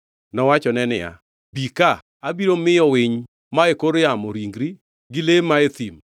Nowachone niya, “Bi ka abiro miyo winy ma e kor yamo ringi gi le man e thim.”